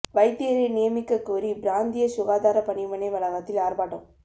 வைத்தியரை நியமிக்கக் கோரி பிராந்தியச் சுகாதாரப் பணிமனை வளாகத்தில் ஆர்ப்பாட்டம்